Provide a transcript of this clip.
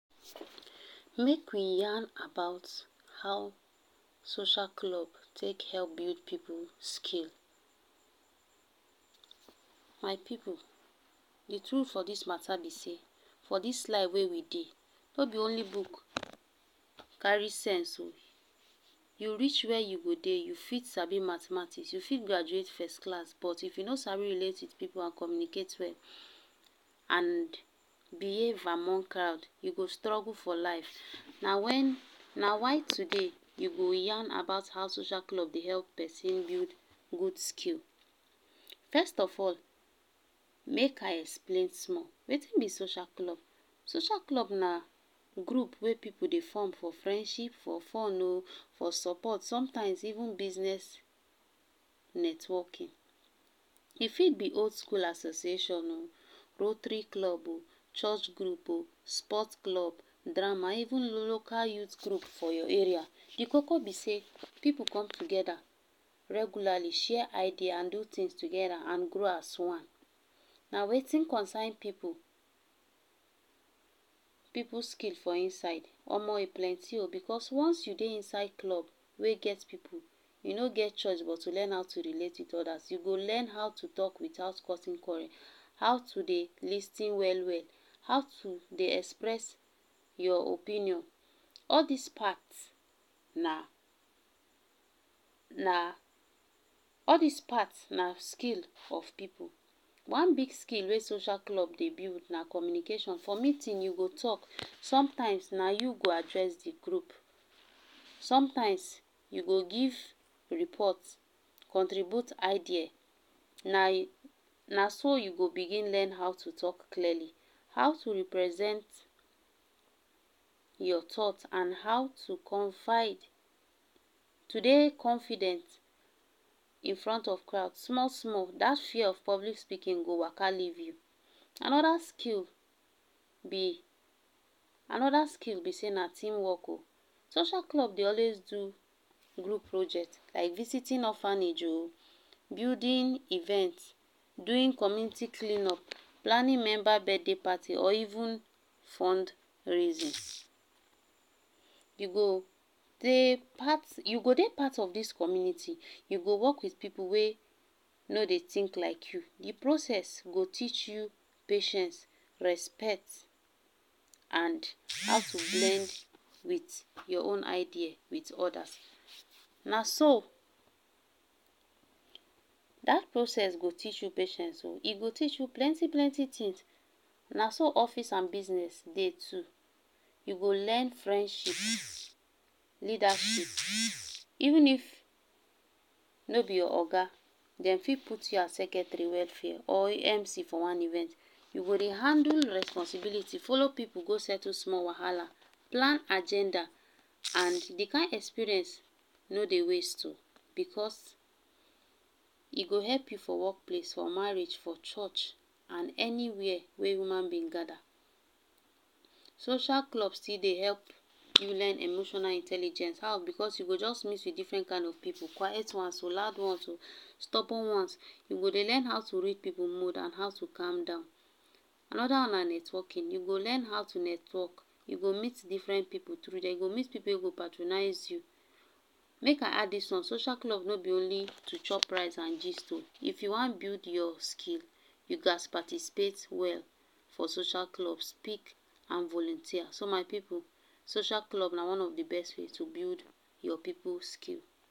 Make we yarn about how social club take help build pipu skill, my pipu d tru for dis mata b sey for dis life wey we dey no b only book carry sense o, u reach wey u go dey u fit sabi mathematics, you fit graduate first class but if u no sabi relate with pipu, and communicate well and behave among crowd, u go struggle for life na wen na why today u go yarn about how social club Dey help persin build good skill, first of all make I explain small Wetin b social club, social club na group wey pipu dey form for friendship for fun o, for support sometimes even business networking, e fit b old school association o, poultry club, church group oh, sport club, drama, even local youth group for your area, d koko b say, pipu come together regularly share idea and do things together and grow as one, na Wetin concern pipu Pipu skill for inside, Omo e plenty o, because once you Dey inside club, wey get pipu, u no get choice but to how to relate with odas, u go learn how to talk without causing quarrel, how to Dey lis ten well well, how to Dey express your opinion, all dis part na na all dis part na skill of pipu, one big skill wey social club Dey build na communication, for meeting u go talk sometimes na you go address d group, sometimes you go give report, contribute idea na na so I go begin how to talk clearly, how to represent your thoughts and how to confide to Dey confident in front of crowd, small small dat fear of public speaking go waka leave u, anoda skill b anoda skill b sey na team work oh, social club Dey always do group project, like visiting orphanage oh, building event, doing community clean up, planning member birthday party or even fundraising, u go Dey part u go dey part of dis community, u go work with pipu wey no dey think like u, d process go teach u patience, respect and how to blend with your own idea with odas, naso dat process go teach u process oh, e go teach u plenty plenty things naso office and business Dey too, u go learn friendship leadership even if no b your Oga dem fit put u as secretary welfare or MC for one event, u go Dey handle responsibility follow pipu go settle small wahala, plan agenda and d kind experience no dey waste oh, because e go help u for workplace, for marriage for church and anywhere, wey human being gather. Social club still Dey help u learn emotional intelligence, how, because u go just mix with different kind of pipu, quite ones oh, loud ones oh, stubborn ones, u go Dey learn how to read pipu mood and how to calm down, anoda one na networking, u go learn how to network, u go meet different pipu tru there u go meet pipu wey go patronize you. Make I add dis one, social club no b only to chop rice and gist o, if u wan build your skill, you gatz participate well for social club, speak and volunteer, so my pipu social club na one of d best way to build your pipu skill.